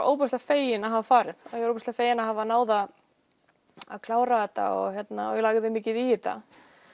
ofboðslega fegin að hafa farið ofboðslega fegin að hafa náð að að klára þetta og ég lagði mikið í þetta